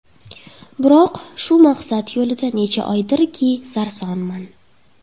Biroq, shu maqsad yo‘lida necha oydirki, sarsonman.